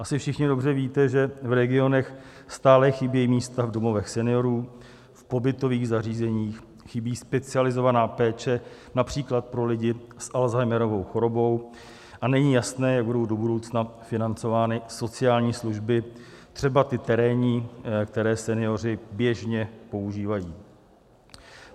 Asi všichni dobře víte, že v regionech stále chybějí místa v domovech seniorů, v pobytových zařízeních, chybí specializovaná péče, například pro lidi s Alzheimerovou chorobou, a není jasné, jak budou do budoucna financovány sociální služby, třeba ty terénní, které senioři běžně používají.